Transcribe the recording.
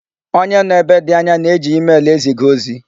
Onye nọ ebe ndị anya na-eji emel eziga ozi.